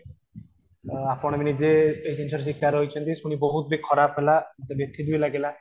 ତ ଆପଣ ବି ନିଜେ ଏଇ ଜିନିଷ ର ଶିକାର ହୋଇଛନ୍ତି ଶୁଣି ବହୁତ ଖରାପ ହେଲା ବ୍ୟଥିତ ଲାଗିଲା